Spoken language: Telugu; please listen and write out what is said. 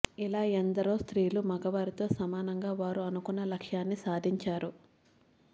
ఇలా ఎందరో స్త్రీలు మగవారితో సమానంగా వారు అనుకున్న లక్ష్యాన్ని సాధించారు